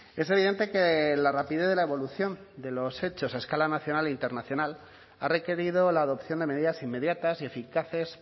es evidente que la rapidez de la evolución de los hechos a escala nacional e internacional ha requerido la adopción de medidas inmediatas y eficaces